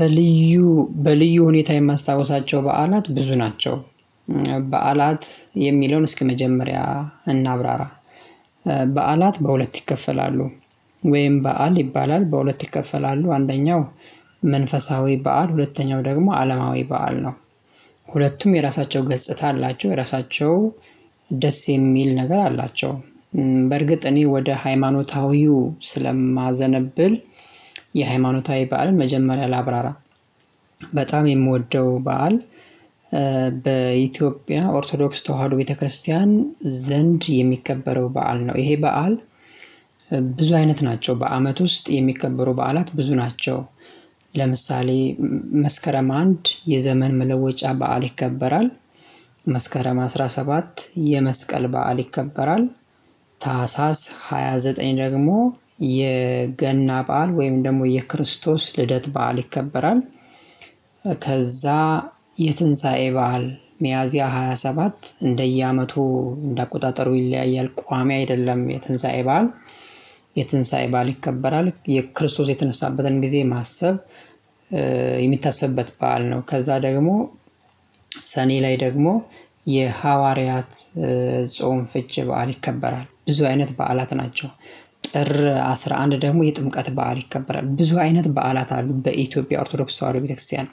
በልዩ በልዩ ሁኔታ የማስታውሳቸው በዓላት ብዙ ናቸው። የሚለውን እስከመጀመሪያ እናብራራ። በዓላት በሁለት ይከፈላሉ ወይም በዓል ይባላል በሁለት ይከፈላሉ። አንደኛው መንፈሳዊ በዓል ሁለተኛው ደግሞ አለማዊ በዓል ነው። ሁለቱም የራሳቸው ገጽታ አላቸው የራሳቸው ደስ የሚል ነገር አላቸው። በርግጥ እኔ ወደ ሃይማኖታዊው ስለማዘነብል የሃይማኖታዊ በዓልን መጀመሪያ ላብራራ። በጣም የምወደው በዓል። በኢትዮጵያ ኦርቶዶክስ ተዋህዶ ቤተክርስቲያን ዘንድ የሚከበረው በዓል ነው። ይሄ በዓል ብዙ ናቸው በአመት ውስጥ የሚከበሩ በዓላት ብዙ ናቸው። ለምሳሌ መስከረም አንድ የዘመን መለወጫ በዓል ይከበራል። መስከረም አስራ ሰባት የመስቀል በዓል ይከበራል። ታህሳስ ሃያ ዘጠኝ ደግሞ የገና በዓል ወይም ደግሞ የክርስቶስ ልደት በዓል ይከበራል። ከዛ የትንሳኤ በዓል ሚያዚያ ሃያ ሰባት እንደየአመቱ እንደ አቆጣጠሩ ይለያያል ቋሚ አይደለም። የትንሳኤ ባል የትንሳኤ በዓል ይከበራል የክርስቶስ የተነሳበትን ጊዜ ማሰብ የሚታሰብበት በዓል ነው። ከዛ ደግሞ ሰኔ ላይ ደግሞ የሐዋርያት ጾም ፍቺ በዓል ይከበራል ብዙ አይነት በዓላት ናቸው። ጥር አስራ አንድ ደግሞ የጥምቀት በዓል ይከበራል። ብዙ አይነት በዓላት አሉ በኢትዮጵያ ኦርቶዶክስ ተዋህዶ ቤተክርስቲያን።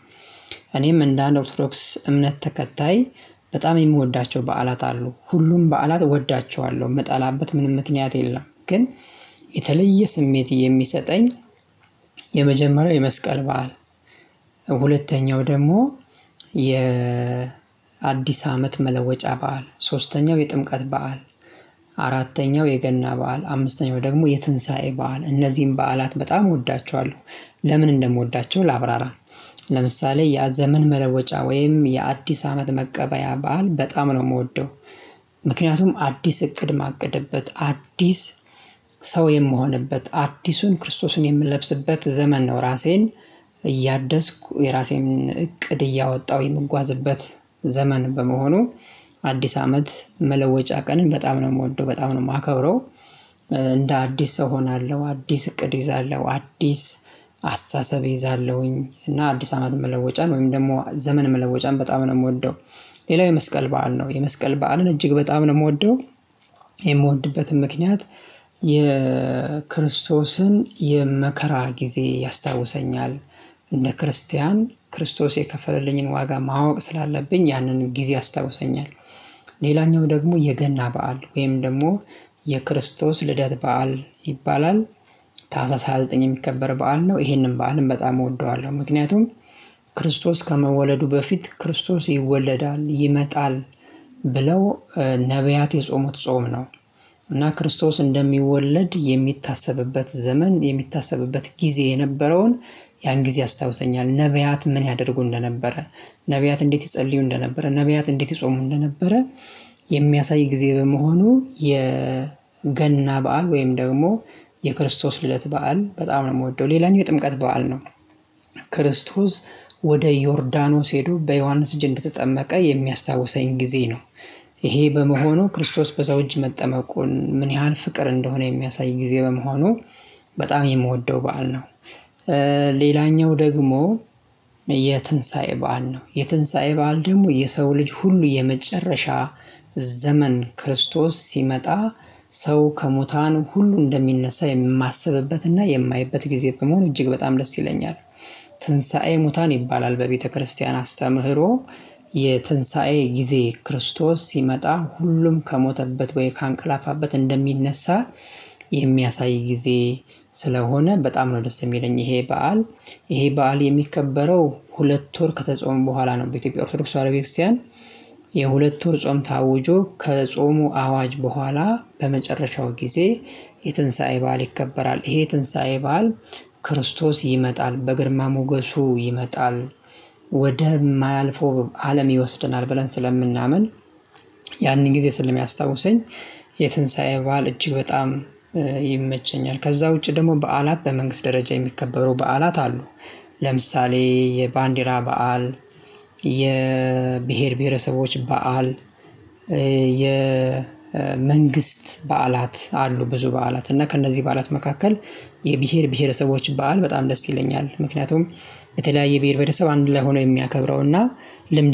እኔም እንደ አንድ ኦርቶዶክስ እምነት ተከታይ በጣም የምወዳቸው በዓላት አሉ ሁሉም በዓላት እወዳቸዋለሁ የምጠላበት ምንም ምክንያት የለም። ግን የተለየ ስሜት የሚሰጠኝ። የመጀመሪያው የመስቀል በዓል ሁለተኛው ደግሞ የ አዲስ አመት መለወጫ በዓል ሶስተኛው የጥምቀት በዓል። አራተኛው የገና በዓል አምስተኛው ደግሞ የትንሳኤ በዓል እነዚህን በዓላት በጣም እወዳቸዋለሁ። ለምን እንደምወዳቸው ላብራራ። ለምሳሌ የዘመን መለወጫ ወይም የአዲስ አመት መቀበያ በዓል በጣም ነው የምወደው። ምክንያቱም አዲስ እቅድ ማቅድበት አዲስ ሰው የምሆንበት አዲሱን ክርስቶስን የምለብስበት ዘመን ነው። ራሴን እያደስኩ የራሴን እቅድ እያወጣሁ የምጓዝበት ዘመን በመሆኑ። አዲስ አመት መለወጫ ቀንን በጣም ነው የምወደው በጣም ነው የማከብረው። እንደ አዲስ ሰው እሆናለሁ አዲስ እቅድ እይዛለሁ አዲስ አስተሳሰብ ይዛለሁኝ እና አዲስ አመት መለወጫን ወይም ደግሞ ዘመን መለወጫን በጣም ነው የምወደው። ሌላው የመስቀል በዓል ነው። የመስቀል በዓልን እጅግ በጣም ነው የምወደው። የምወድበትን ምክንያት የክርስቶስን የመከራ ጊዜ ያስታውሰኛል እንደ ክርስቲያን ክርስቶስ የከፈለልኝን ዋጋ ማወቅ ስላለብኝ ያንን ጊዜ አስታውሰኛል። ሌላኛው ደግሞ የገና በዓል ወይም ደግሞ የክርስቶስ ልደት በዓል ይባላል። ታህሳስ ሃያ ዘጠኝ የሚከበር በዓል ነው። ይሄንን በዓልም በጣም እወደዋለሁ ምክንያቱም ክርስቶስ ከመወለዱ በፊት ክርስቶስ ይወለዳል ይመጣል ብለው ነብያት የጾሙት ጾም ነው። እና ክርስቶስ እንደሚወለድ የሚታሰብበት ዘመን የሚታሰብበት ጊዜ የነበረውን ያን ጊዜ አስታውሰኛል። ነብያት ምን ያደርጉ እንደነበረ ነብያት እንዴት ይጸልዩ እንደነበረ ነብያት እንዴት ይጾሙ እንደነበረ። ጊዜ በመሆኑ የገና በዓል ወይም ደግሞ የክርስቶስ ልደት በዓል በጣም ነው የምወደው። ሌላኛው የጥምቀት በዓል ነው። ክርስቶስ ወደ ዮርዳኖስ ሄዶ በዮሐንስ እጅ ተጠመቀ የሚያስታውሰኝ ጊዜ ነው። ይሄ በመሆኑ ክርስቶስ በሰው እጅ መጠመቁን ምን ያህል ፍቅር እንደሆነ የሚያሳይ ጊዜ በመሆኑ በጣም የምወደው በዓል ነው። ሌላኛው ደግሞ የትንሳኤ በዓል ነው የትንሳኤ በዓል ደግሞ የሰው ልጅ ሁሉ የመጨረሻ ዘመን ክርስቶስ ሲመጣ ሰው ከሙታን ሁሉ እንደሚነሳ የማስብበትና የማየበት ጊዜ በመሆን እጅግ በጣም ደስ ይለኛል። ትንሳኤ ሙታን ይባላል በቤተክርስቲያን አስተምህሮ። የትንሳኤ ጊዜ ክርስቶስ ሲመጣ ሁሉም ከሞተበት ወይ ካንቀላፋበት እንደሚነሳ። የሚያሳይ ጊዜ ስለሆነ በጣም ነው ደስ የሚለኝ። ይሄ በዓል ይሄ በዓል የሚከበረው ሁለት ወር ከተጾሙ በኋላ ነው። በኢትዮጵያ ኦርቶዶክስ ተዋህዶ ቤተ ክርስቲያን። የሁለት ወር ጾም ታውጆ ከጾሙ አዋጅ በኋላ በመጨረሻው ጊዜ የትንሳኤ በዓል ይከበራል። ይሄ የትንሳኤ በዓል ክርስቶስ ይመጣል በግርማ ሞገሱ ይመጣል ወደማያልፈው አለም ይወሰደናል ብለን ስለምናምን። ያንን ጊዜ ስለሚያስታውሰኝ የትንሳኤ በዓል እጅግ በጣም ይመቸኛል። ከዛ ውጪ ደግሞ በዓላት በመንግስት ደረጃ የሚከበሩ በዓላት አሉ። ለምሳሌ የባንዲራ በዓል። የብሄር ብሄረሰቦች በዓል። የመንግስት በዓላት አሉ ብዙ በዓላት እና ከእነዚህ በዓላት መካከል የብሄር ብሄረሰቦች በዓል በጣም ደስ ይለኛል። ምክንያቱም የተለያየ ብሄር ብሄረሰብ አንድ ላይ ሆኖ የሚያከብረው እና ልምድ